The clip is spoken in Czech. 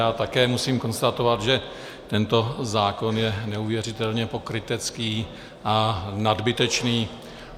Já také musím konstatovat, že tento zákon je neuvěřitelně pokrytecký a nadbytečný.